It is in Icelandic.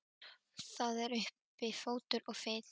Það er uppi fótur og fit.